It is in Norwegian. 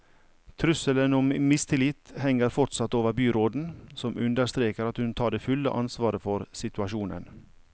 Trusselen om mistillit henger fortsatt over byråden, som understreker at hun tar det fulle ansvaret for situasjonen.